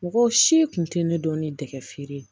Mɔgɔw si kun tɛ ne dɔn ni dɛgɛ feere ye